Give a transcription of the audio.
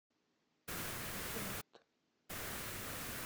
торт